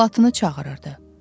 Salatını çağırırdı.